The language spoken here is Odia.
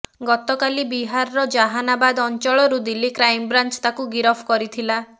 ଗତକାଲି ବିହାରର ଜହାନାବାଦ ଅଞ୍ଚଳରୁ ଦିଲ୍ଲୀ କ୍ରାଇମବ୍ରାଞ୍ଚ ତାକୁ ଗିରଫ କରିଥିଲା